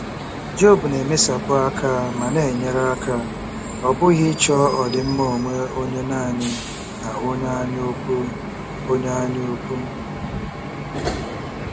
Job na-emesapụ aka ma na-enyere aka, ọ bụghị ịchọ ọdịmma onwe onye nanị na onye anyaukwu. onye anyaukwu.